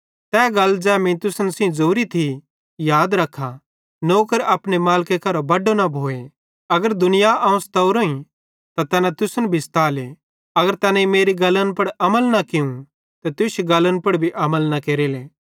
तै गल ज़ै मीं तुसन सेइं ज़ोरी थी याद रख्खा नौकर अपने मालिके करां बड्डो न भोए अगर दुनियां अवं सतेवरोइं त तैना तुसन भी सताले अगर तैनेईं मेरी गल्ली पुड़ अमल कियूं त तुश्शी गल्ली पुड़ भी अमल केरेले